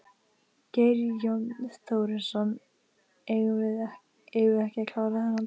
Geir Jón Þórisson: Eigum við ekki að klára þennan dag?